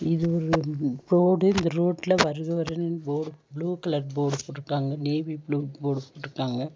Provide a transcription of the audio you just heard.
இது ஒரு ரோடு இந்த ரோட்ல வருக வருகணு போர்ட் ப்ளூ கலர் போர்டு போட்ருக்காங்க நேவி ப்ளூ போர்ட் போட்ருக்காங்க.